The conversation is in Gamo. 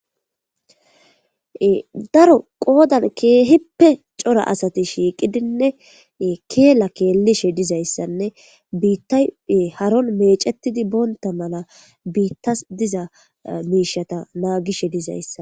daro qoodan keehippe cora asati shiiqidinne keela keelishe dizayssanne biittay haron meecetidi boonta mala biittas diza miishata naagishe dizayssa